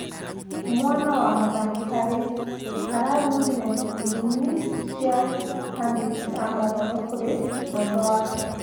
Mwana wa muthamaki Harry ararumire irumi cia andikĩ a mohoro kũri mwendwa wake